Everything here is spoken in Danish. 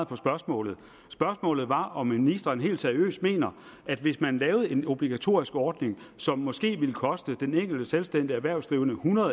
på spørgsmålet spørgsmålet var om ministeren helt seriøst mener at hvis man laver en obligatorisk ordning som måske vil koste den enkelte selvstændigt erhvervsdrivende hundrede